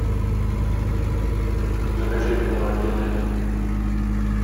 закачай кино один один